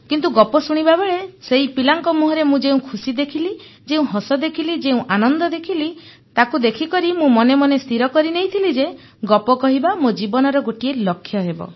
କିନ୍ତୁ ଗପ ଶୁଣିବାବେଳେ ସେହି ପିଲାଙ୍କ ମୁହଁରେ ମୁଁ ଯେଉଁ ଖୁସି ଦେଖିଲି ଯେଉଁ ହସ ଦେଖିଲି ଯେଉଁ ଆନନ୍ଦ ଦେଖିଲି ତାକୁ ଦେଖିକରି ମୁଁ ମନେମନେ ସ୍ଥିର କରିନେଇଥିଲି ଯେ ଗପ କହିବା ମୋ ଜୀବନର ଗୋଟିଏ ଲକ୍ଷ୍ୟ ହେବ